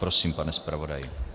Prosím, pane zpravodaji.